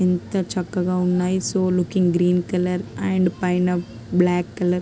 ఎంత చక్కగా ఉన్నాయి.సో లుక్కింగ్ గ్రీన్ కలర్ అండ్ పైన బ్లాక్ కలర్--